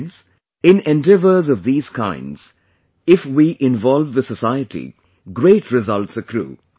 Friends, in Endeavour's of thesekinds, if we involve the society, great results accrue